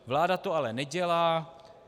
Vláda to ale nedělá.